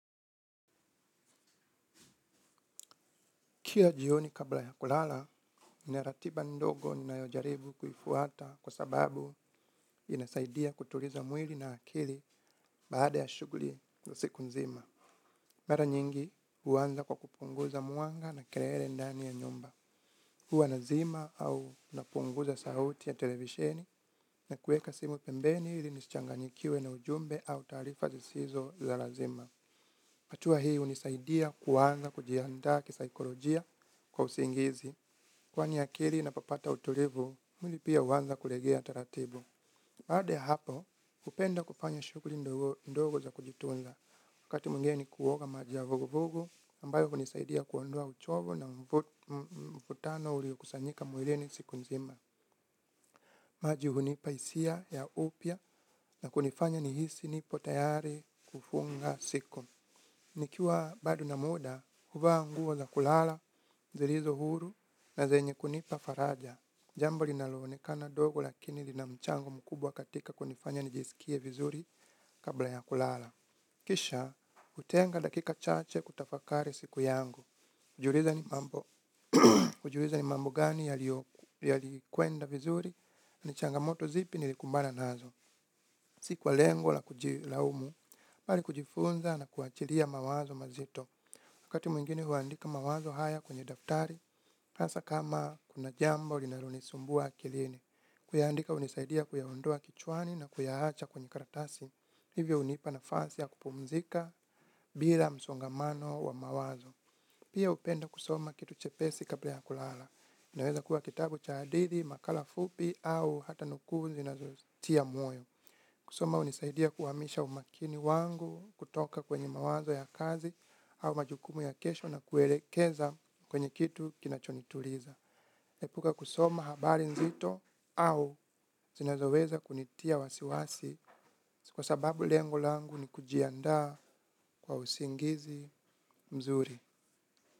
Kila jioni kabla ya kulala, nina ratiba ndogo ninayo jaribu kuifuata kwa sababu inasaidia kutuliza mwili na akili baada ya shughuli na siku nzima. Mara nyingi huanza kwa kupunguza mwanga na kelele ndani ya nyumba. Huwa nazima au napunguza sauti ya televisheni na kuweka simu pembeni ili nisichanganyikiwe na ujumbe au taarifa zisizo za lazima. Hatua hii hunisaidia kuanza kujiandaa kisaikolojia kwa usingizi. Kwani akili inapopata utulivu, mwili pia huanza kulegea taratibu. Baada ya hapo, hupenda kufanya shughuli ndogondogo za kujitunza. Wakati mwingine ni kuoga maji ya vugu vugu, ambayo hunisaidia kuondoa uchovu na mvutano ulio kusanyika mwilini siku nzima. Maji hunipa hisia ya upya na kunifanya nihisi nipo tayari kufunga siku. Nikiwa bado na muda, huvaa nguo za kulala, zilizo huru na zenye kunipa faraja. Jambo linaloonekana ndogo lakini lina mchango mkubwa katika kunifanya nijisikie vizuri kabla ya kulala. Kisha, hutenga dakika chache kutafakari siku yangu. Kujiuliza ni mambo. Kujiuliza ni mambo gani yalikwenda vizuri. Ni changamoto zipi nilikumbana nazo. Si kwa lengo la kujilaumu, bali kujifunza na kuachilia mawazo mazito. Wakati mwingine huandika mawazo haya kwenye daftari, hasa kama kuna jambo linalonisumbua akilini. Kuyaandika hunisaidia kuyaondoa kichwani na kuyaacha kwenye karatasi. Hivyo hunipa nafasi ya kupumzika bila msongamano wa mawazo. Pia hupenda kusoma kitu chepesi kabla ya kulala. Inaweza kuwa kitabu cha hadithi, makala fupi au hata nukuu zinazotia moyo. Kusoma hunisaidia kuhamisha umakini wangu kutoka kwenye mawazo ya kazi au majukumu ya kesho na kuelekeza kwenye kitu kinachonituliza. Naepuka kusoma habari nzito au zinazoweza kunitia wasiwasi kwa sababu lengo langu ni kujiandaa kwa usingizi mzuri.